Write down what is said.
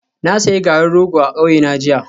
Na sayi garin rogo a kauyena jiya